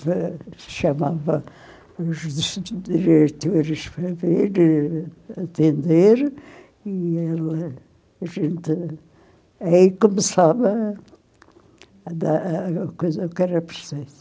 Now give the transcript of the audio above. se chamava os diretores para vir atender e a gente aí começava a dar a coisa que era preciso.